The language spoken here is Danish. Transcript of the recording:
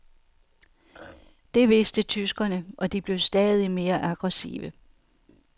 Det vidste tyskerne, og de blev stadig mere aggressive.